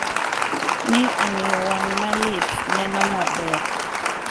Ni omiyo wang’ ma lit neno maber.